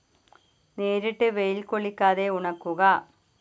നേരിട്ട് വെയിൽ കൊള്ളിക്കാതെ ഉണക്കുക